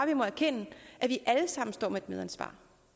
vi må erkende at vi alle sammen står med et medansvar